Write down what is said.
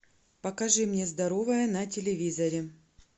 покажи мне здоровое на телевизоре